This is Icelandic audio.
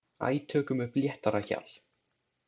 Æ, tökum upp léttara hjal.